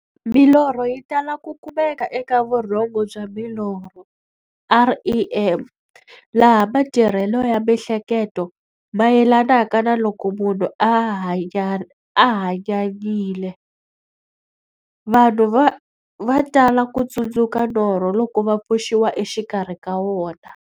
Milorho yi tala ku kumeka eka vurhongo bya milorho, REM, laha matirhele ya miehleketo mayelanaka na loko munhu a hanyanyile. Vanhu va tala ku tsundzuka norho loko va pfuxiwa exikarhi ka wona.